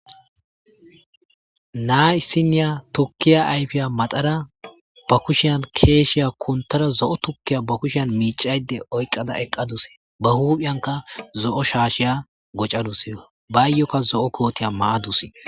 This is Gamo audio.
naa isiniya tukkiya ayfiya maxara ba kushiyan keeshshiya kuntara zo7o tukkiya ba kushiyan miicayde oyqqada eqqadus ba huuphiyanka zo7o shaashiya gocadus baayyokka zo7o kootiya maadusi